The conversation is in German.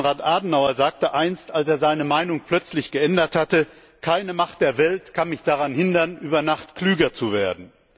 Konrad Adenauer sagte einst, als er seine Meinung plötzlich geändert hatte Keine Macht der Welt kann mich daran hindern, über Nacht klüger zu werden.